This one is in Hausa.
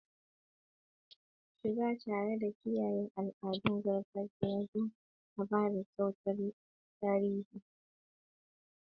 Shiga tare da kiyaye al'adun gargajiya don adana kayan tarihi.